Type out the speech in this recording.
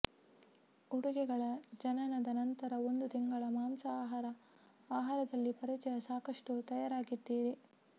ಉಡುಗೆಗಳ ಜನನದ ನಂತರ ಒಂದು ತಿಂಗಳ ಮಾಂಸ ಆಹಾರ ಆಹಾರದಲ್ಲಿ ಪರಿಚಯ ಸಾಕಷ್ಟು ತಯಾರಾಗಿದ್ದೀರಿ